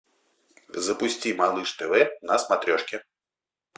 запусти малыш тв на смотрешке